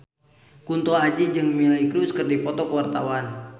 Kunto Aji jeung Miley Cyrus keur dipoto ku wartawan